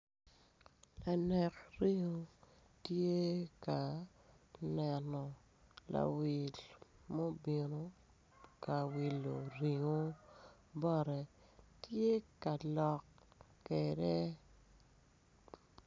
Lanek ringo tye ka neno lawil mu binu ka wilo ringo bote tye ka lok kede